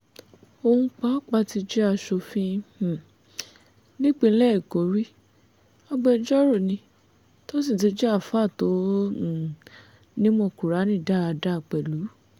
òun pàápàá ti jẹ́ aṣòfin um nípínlẹ̀ èkó rí agbẹjọ́rò ni tó sì tún jẹ́ alfaa tó um nímọ̀ kùrààní dáadáa pẹ̀lú